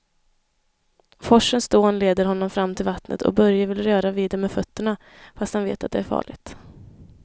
Forsens dån leder honom fram till vattnet och Börje vill röra vid det med fötterna, fast han vet att det är farligt.